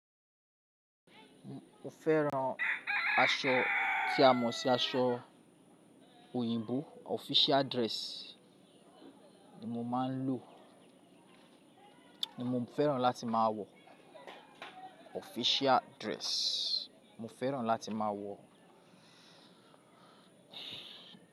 Mo fẹ́ran aṣọ tí a mọ̀ sí aṣọ òyìnbó official dress ni mo máa ń lò, ni mo fẹ́ran láti máa wọ̀ official dress, mo fẹ́ran láti máa wọ̀